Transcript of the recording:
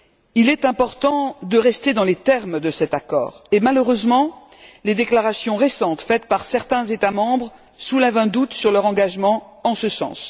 Il est important de rester dans les termes de cet accord et, malheureusement, les déclarations récentes faites par certains États membres soulèvent un doute sur leur engagement en ce sens.